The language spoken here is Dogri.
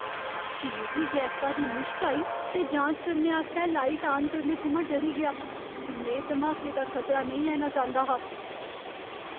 मिगी गैसा दी मुश्क आई ते जांच करने आस्तै लाइट आन करने थमां डरी गेआ। में धमाके दा खतरा नेईं लैना चांह्दा हा।